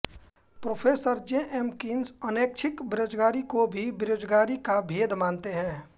professor J M Keynes अनैच्छिक बेरोजगारी को भी बेरोजगारी का भेद मानते हैं